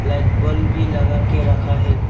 एक बल्ब भी लगा के रखा है।